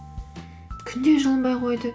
күн де жылынбай қойды